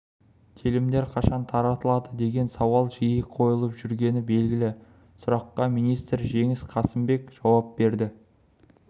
телімдер қашан таратылады деген сауал жиі қойылып жүргені белгілі сұраққа министр жеңіс қасымбек жауап берді